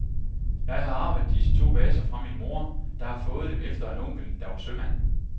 Jeg har arvet disse to vaser fra min mor, der har fået dem efter en onkel, der var sømand.